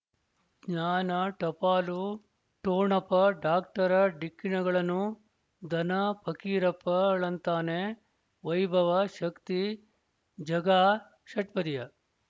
ಜ್ಞಾನ ಟಪಾಲು ಠೊಣಪ ಡಾಕ್ಟರ ಢಿಕ್ಕಿ ಣಗಳನು ಧನ ಫಕೀರಪ್ಪ ಳಂತಾನೆ ವೈಭವ ಶಕ್ತಿ ಝಗಾ ಷಟ್ಪದಿಯ